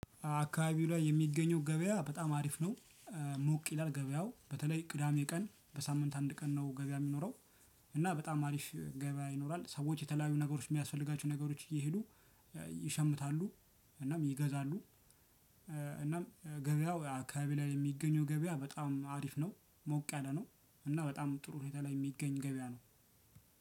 አካባቢው ላይ የሚገኘው ገበያ በጣም አሪፍ ነው። ሞቅ ይላል ገበያው በተለይ ቅዳሜ ቀን በሳምንት አንድ ቀን ነው ገበያ የሚኖረው። እና በጣም አሪፍ ገበያ ይኖራል ሰዎች የተለያዩ ነገሮች የሚያስፈልጋቸው ነገሮች እየሄዱ ይሸምታሉ እናም ይገዛሉ። እናም ገበያው አካባቢ ላይ የሚገኘው ገበያ በጣም አሪፍ ነው። ሞቅ ያለ ነው እናም በጣም ጥሩ ሁኔታ ላይ የሚገኝ ገበያ ነው።